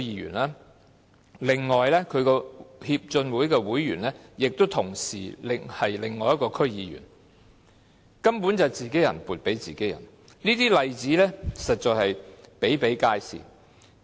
此外，另一名區議員亦是其會員，根本是自己人撥款予自己人，這些例子實在比比皆是。